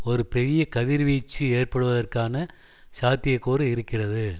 ஒரு பெரிய கதிர்வீச்சு ஏற்படுவதற்கான சாத்தியக்கூறு இருக்கிறது